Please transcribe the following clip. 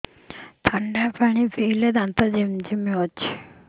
ଥଣ୍ଡା ପାଣି ପିଇଲେ ଦାନ୍ତ ଜିମା ହଉଚି